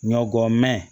Ɲɔ gɔ mɛn